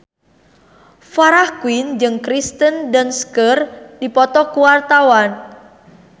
Farah Quinn jeung Kirsten Dunst keur dipoto ku wartawan